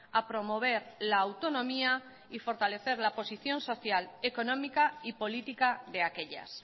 a promover la autonomía y fortalecer la posición social económica y política de aquellas